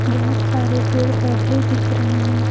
बहुत सारे पेड़ पौधे दिख रहे हैं।